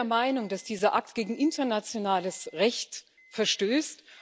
Ich bin der Meinung, dass dieser Akt gegen internationales Recht verstößt.